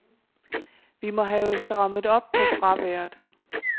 Vi må have strammet op på fraværet.